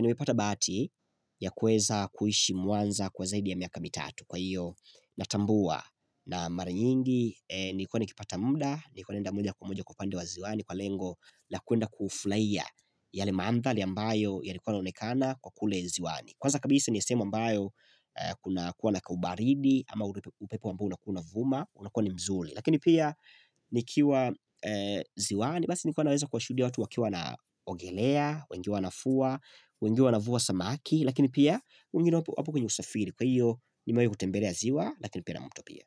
nimepata bati ya kuweza kuishi Mwanza kwa zaidi ya miaka mitatu kwa hiyo natambua na mara nyingi nilikua nikipata muda, nilikua naenda moja kwa moja kwa pande wa ziwani kwa lengo na kwenda kufurahia yale mandhari ambayo yalikua yanaonekana kule ziwani. Kwanza kabisa ni sehemu ambayo kuna kuwa na kaubaridi ama upepo ambao unakua unavuma unakua ni mzuri Lakini pia nikiwa ziwani basi nikuwa naweza kuwashuhudia watu wakiwa wanogelea, wengine wanafua, wengine wanavua samaki Lakini pia wengine wapo kwenye usafiri kwa hiyo nimewahi kutembelea ziwa lakini pia na matukio.